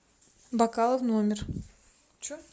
бокалы в номер